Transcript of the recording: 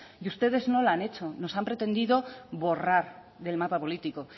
y ustedes no la han hecho nos han pretendido borrar del mapa político